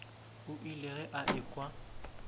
o ile ge a ekwa